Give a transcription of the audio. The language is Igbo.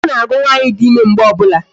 Agụ na-agụ nwaanyị dị ịme mgbe ọ bụla